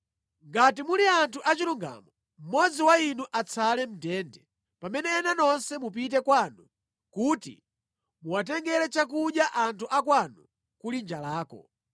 Ngati muli anthu achilungamo, mmodzi wa inu atsale mʼndende, pamene ena nonse mupite kwanu kuti muwatengere chakudya anthu akwanu kuli njalako.